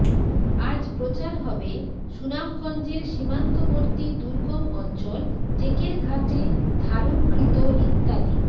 আজ প্রচার হবে সুনামগঞ্জের সীমান্তবর্তী দুর্গম অঞ্চল টেকেরঘাটে ধারণকৃত ইত্যাদি